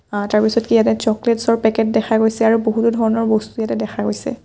অ তাৰ পিছত কি ইয়াতে চকলেটচ ৰ পেকেট দেখা গৈছে আৰু বহুতো ধৰণৰ বস্তু ইয়াতে দেখা গৈছে।